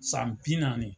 San bi naani